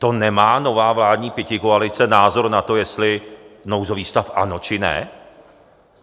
To nemá nová vládní pětikoalice názor na to, jestli nouzový stav ano, či ne?